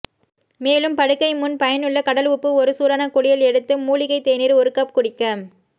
மேலும் படுக்கை முன் பயனுள்ள கடல் உப்பு ஒரு சூடான குளியல் எடுத்து மூலிகை தேநீர் ஒரு கப் குடிக்க